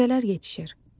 Meyvələr yetişir.